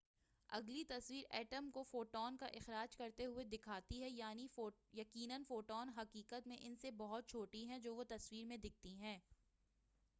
اگلی تصویر ایٹم کو فوٹون کا اخراج کرتے ہوئے دکھاتی ہے یقینا فوٹون حقیقت میں ان سے بہت چھوٹی ہیں جو وہ تصویر میں دکھتی ہیں